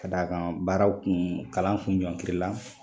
Ka d'a kan baaraw kun kalanw kun ɲɔnkiri la